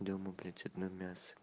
дома блять одно мясо